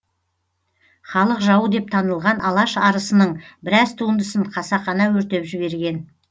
халық жауы деп танылған алаш арысының біраз туындысын қасақана өртеп жіберген